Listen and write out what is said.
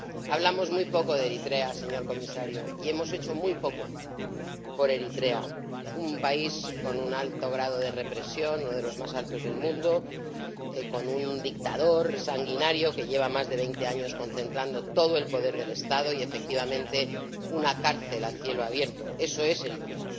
Hablamos muy poco de Eritrea, señor Comisario, y hemos hecho muy poco por Eritrea, un país con un alto grado de represión ―uno de los más altos del mundo―, con un dictador sanguinario que lleva más de 20 años concentrando todo el poder del Estado y, efectivamente, una cárcel a cielo abierto. Eso es Eritrea.